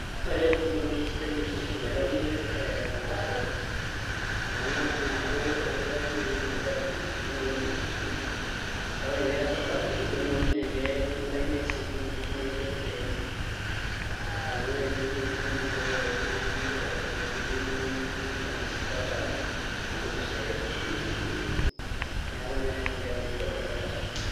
Ore Embu naa ewueji sidai niidim aitayunyie passport amu ing'as inye aaku ias naai entoki naji application tinewueji naa ore pee ias application tinewueji naa kintakini naa ake receipt tinewueji ake te Embu amu ore ine wueji e Embu naa ketii ake sininye mpaka enkopis e TSC, neeku naa elelek naa enkitaunoto e passport.